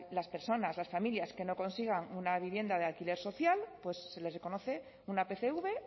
las personas las familias que no consigan una vivienda de alquiler social pues se les reconoce una pcv